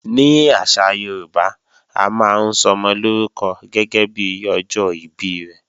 Ní àṣà Yorùbá, a máa ń sọmọ lórúkọ gẹ́gẹ́bí ọjọ́ ìbí rẹ̀